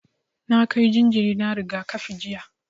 Na kai jinjira na rigakafi jiya.